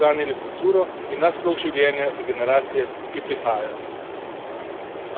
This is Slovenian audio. Le tako bomo namreč ohranili kulturo in naš slog življenja za generacije, ki prihajajo.